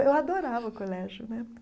Eu adorava o colégio né.